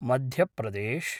Madhya Pradesh